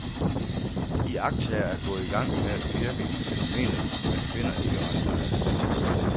Iagttagere er gået i gang med at pirke i fænomenet, men finder ikke ret meget.